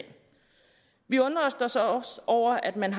vi undrer os også over at man